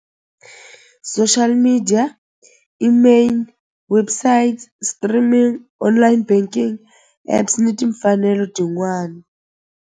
Social media email website streaming online banking apps ni timfanelo tin'wani.